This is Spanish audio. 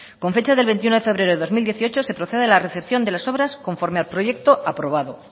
con fecha del veintiuno de febrero del dos mil dieciocho se procede a la recepción de las obras conforme al proyecto aprobado